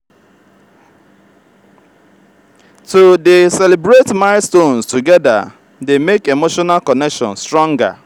to dey celebrate milestones together dey make emotional connection stronger.